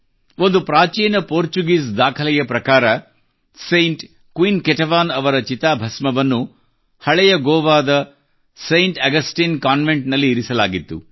ಒಂದು ಪ್ರಾಚೀನ ಪೋರ್ಚುಗೀಸ್ ದಾಖಲೆಯ ಪ್ರಕಾರ ಸೈಂಟ್ ಕ್ವೀನ್ ಕೆಟೆವನ್ ಅವರ ಚಿತಾಭಸ್ಮವನ್ನು ಹಳೆಯ ಗೋವಾದ ಸೈಂಟ್ ಆಗಸ್ಟೈನ್ ಕಾನ್ವೆಂಟ್ ನಲ್ಲಿ ಇರಿಸಲಾಗಿತ್ತು